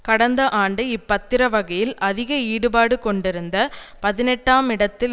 கடந்த ஆண்டு இப்பத்திரவகையில் அதிக ஈடுபாடு கொண்டிருந்த பதினெட்டாம் இடத்தில்